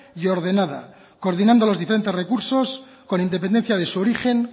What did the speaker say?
y ordenada coordinando los diferentes recursos con independencia de su origen